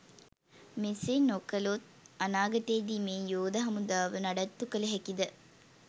මේසේ නොකලොත් අනාගතයේදී මේ යෝද හමුදාව නඩත්තු කල හැකිද?